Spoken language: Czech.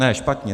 Ne, špatně.